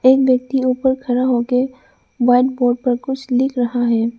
एक व्यक्ति ऊपर खड़ा होके व्हाइट बोर्ड पे कुछ लिख रहा है।